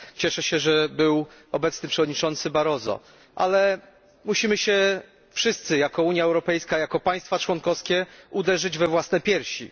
Cieszę się, że był obecny przewodniczący Barroso, ale musimy się wszyscy jako Unia Europejska, jako państwa członkowskie, uderzyć w piersi.